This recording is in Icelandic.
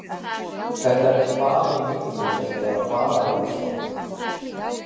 Þetta er ekki bara í mínu tilfelli eða bara í Rússlandi.